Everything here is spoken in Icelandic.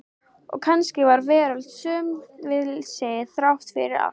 Og kannski var veröldin söm við sig, þrátt fyrir allt.